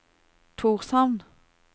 Tórshavn